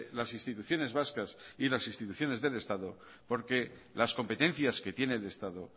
las instituciones vascas y las instituciones del estado porque las competencias que tiene el estado